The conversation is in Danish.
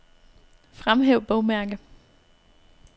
Fremhæv bogmærke.